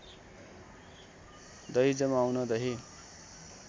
दही जमाउन दही